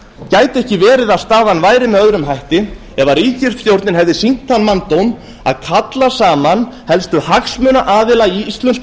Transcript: gæti ekki verið að staðan væri með öðrum hætti ef ríkisstjórnin hefði sýnt þann manndóm að kalla saman helstu hagsmunaaðila í íslensku